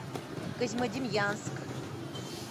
козьмодемьянск